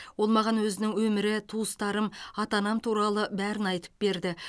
ол маған өзінің өмірі туыстарым ата анам туралы бәрін айтып берді